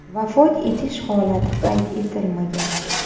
Vafot etish holati qayd etilmagan.